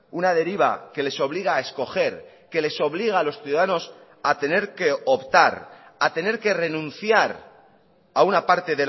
una deriva que les obliga a escoger que les obliga a los ciudadanos a tener que optar a tener que renunciar a una parte